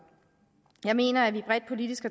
jeg mener at vi bredt politisk